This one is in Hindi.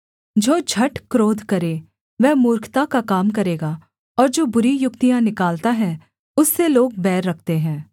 जो झट क्रोध करे वह मूर्खता का काम करेगा और जो बुरी युक्तियाँ निकालता है उससे लोग बैर रखते हैं